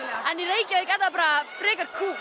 en í Reykjavík er það bara frekar kúl